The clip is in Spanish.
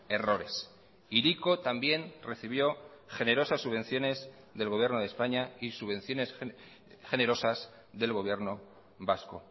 errores hiriko también recibió generosas subvenciones del gobierno de españa y subvenciones generosas del gobierno vasco